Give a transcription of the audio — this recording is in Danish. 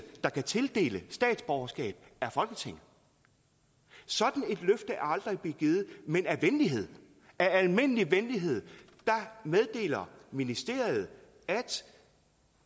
der kan tildele statsborgerskab er folketinget sådan et løfte er aldrig blevet givet men af venlighed af almindelig venlighed meddeler ministeriet at